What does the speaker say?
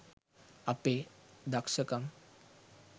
අපේ දක්සකම්